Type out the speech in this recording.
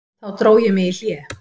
Þá dró ég mig í hlé.